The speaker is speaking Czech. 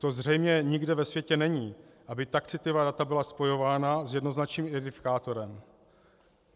To zřejmě nikde ve světě není, aby tak citlivá data byla spojována s jednoznačným identifikátorem.